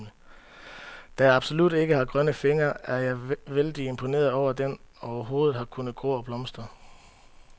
Da jeg absolut ikke har grønne fingre, er jeg vældig imponeret over, at den overhovedet har kunnet gro og blomstre.